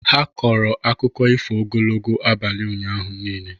Ha kọrọ akụkọ ifo ogologo abalị ụnyaahụ niile.